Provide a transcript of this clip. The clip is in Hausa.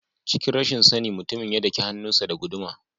Cikin rashin sani mutumin ya daki hannun sa da guduma.